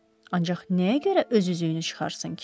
Ancaq nəyə görə öz üzüyünü çıxarsın ki?